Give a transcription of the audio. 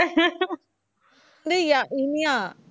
அவ வந்து யா~ இனியா